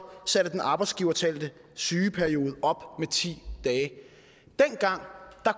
satte den arbejdsgiverbetalte sygeperiode op med ti dage dengang